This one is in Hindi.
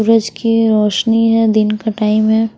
सूरज की रोशनी है दिन का टाइम है।